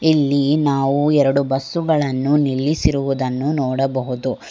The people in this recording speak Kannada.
ಇಲ್ಲಿ ನಾವು ಎರಡು ಬಸ್ಸುಗಳನ್ನು ನಿಲ್ಲಿಸಿರುದ್ದನ್ನು ನೋಡಬಹುದು.